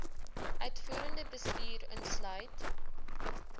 uitvoerende bestuur insluit